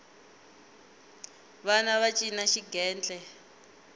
vana va cina xigentle